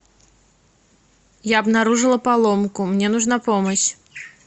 я обнаружила поломку мне нужна помощь